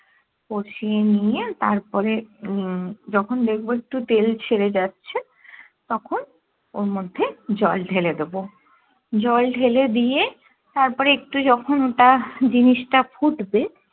কষিয়ে নিয়ে তারপরে উম যখন দেখবো একটু তেল ছেড়ে যাচ্ছে তখন ওর মধ্যে জল ঢেলে দেব জল ঢেলে দিয়ে তারপরে একটু যখুন ওটা জিনিস টা ফুটবে